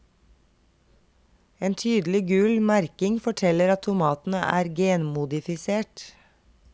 En tydelig gul merking forteller at tomatene er genmodifisert.